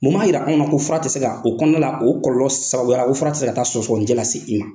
Mun b'a jira anw na, ko fura tɛ se ka , o kɔnɔnala, o kɔlɔlɔ sababuya la ko fura tɛ se ka taa sɔgɔsɔgɔninjɛ lase i ma.